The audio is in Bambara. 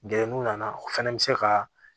Gɛrɛ n'u nana o fɛnɛ bi se ka